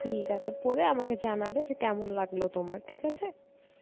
ঠিক আছে পড়ে আমাকে জানাবে যে কেমন লাগলো তোমার, ঠিক আছে?